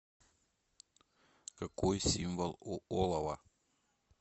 какой символ у олово